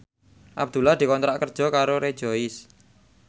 Abdullah dikontrak kerja karo Rejoice